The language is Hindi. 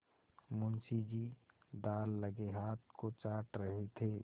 मुंशी जी दाललगे हाथ को चाट रहे थे